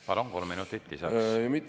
Palun, kolm minutit lisaks!